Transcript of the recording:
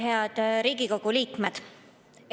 Head Riigikogu liikmed!